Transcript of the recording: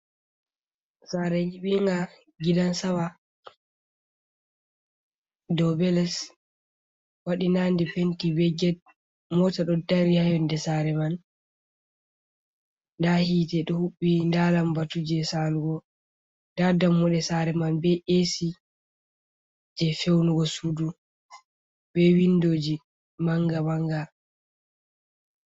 Sare nyibinga gidan sama, do be les waɗi nande penti be get, mota ɗo dari ha yonde sare man, nda hite ɗo hubbi nda lambatu je salugo, nda dammuɗe sare man be esi je feunugo sudu, be windoji manga manga.